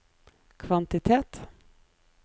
kvantitet